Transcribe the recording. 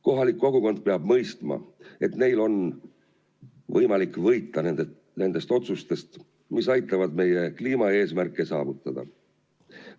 Kohalik kogukond peab mõistma, et neil on võimalik võita nendest otsustest, mis aitavad meie kliimaeesmärke saavutada.